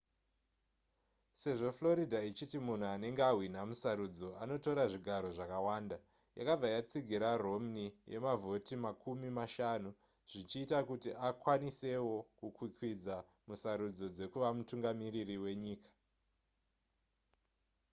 sezvo florida ichiti munhu anenge ahwina musarudzo anotora zvigaro zvakawanda yakabva yatsigira romney yemavhoti makumi mashanu zvichiita kuti akwanisewo kukwikwidza musarudzo dzekuva mutungamiriri wenyika